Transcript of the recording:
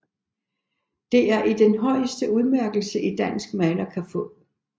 Det er den højeste udmærkelse en dansk maler kan få